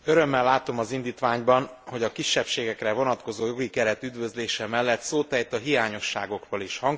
Örömmel látom az indítványban, hogy a kisebbségekre vonatkozó jogi keret üdvözlése mellett szót ejt a hiányosságokról is.